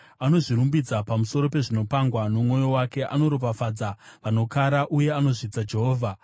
Anozvirumbidza pamusoro pezvinopangwa nomwoyo wake; anoropafadza vanokara uye anozvidza Jehovha.